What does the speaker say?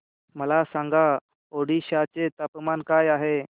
मला सांगा ओडिशा चे तापमान काय आहे